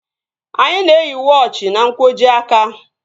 Anyị na-eyi wọochi n'nkwojiaka